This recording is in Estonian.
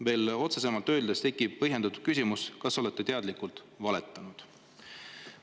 Veel otsesemalt öeldes tekib põhjendatud küsimus, kas te olete teadlikult valetanud.